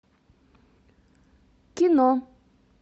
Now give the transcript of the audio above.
кино